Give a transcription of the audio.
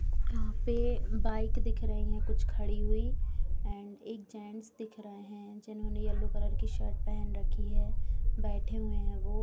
यहाँ पे बाइक दिख रही हैं कुछ खड़ी हुई एंड एक जेन्ट्स दिख रहे हैं जिन्होंने येल्लो कलर की शर्ट पहन रखी है बैठे हुए हैं वो।